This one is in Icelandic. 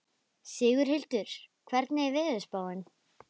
Sigurhildur, hvernig er veðurspáin?